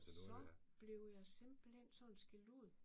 Så blev jeg simpelthen sådan skældt ud